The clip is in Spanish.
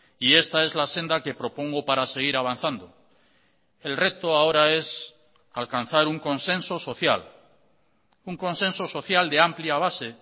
y esta es la senda que propongo para seguir avanzando el reto ahora es alcanzar un consenso social un consenso social de amplia base